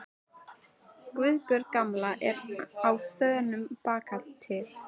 Guðbjörg gamla er á þönum bakatil.